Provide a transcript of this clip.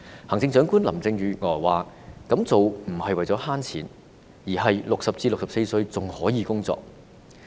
行政長官林鄭月娥表示，這樣做不是為了省錢，而是60至64歲的人還可以工作。